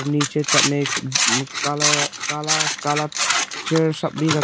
नीचे कलर काला काला चेयर सब भी रख--